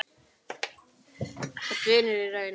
Þú ert vinur í raun.